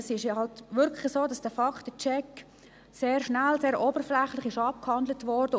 Es ist halt wirklich so, dass der Faktencheck sehr rasch und oberflächlich abgehandelt wurde.